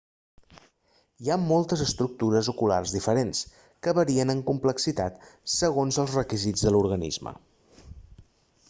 hi ha moltes estructures oculars diferents que varien en complexitat segons els requisits de l'organisme